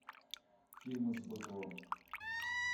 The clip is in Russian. фильмы с быковым